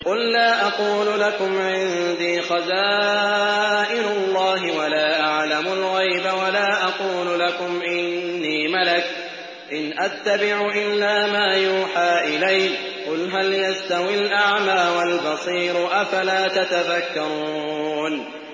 قُل لَّا أَقُولُ لَكُمْ عِندِي خَزَائِنُ اللَّهِ وَلَا أَعْلَمُ الْغَيْبَ وَلَا أَقُولُ لَكُمْ إِنِّي مَلَكٌ ۖ إِنْ أَتَّبِعُ إِلَّا مَا يُوحَىٰ إِلَيَّ ۚ قُلْ هَلْ يَسْتَوِي الْأَعْمَىٰ وَالْبَصِيرُ ۚ أَفَلَا تَتَفَكَّرُونَ